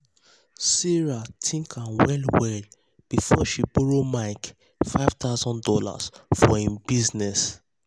sarah think am well well before she borrow mike five thousand dollars for im business.